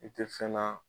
I tɛ fɛn na